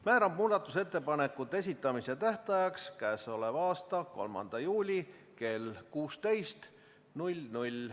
Määran muudatusettepanekute esitamise tähtajaks k.a 3. juuli kell 16.